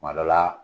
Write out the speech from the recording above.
Kuma dɔ la